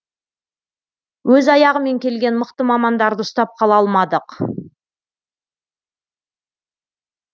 өз аяғымен келген мықты мамандарды ұстап қала алмадық